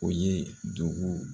O ye dugu.